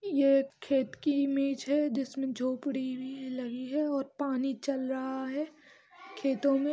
ये एक खेत की ईमेज़ है जिसमे झोपड़ी भी लगी है और पानी चल रहा है खेतों मे --